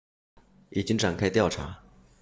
已经展开调查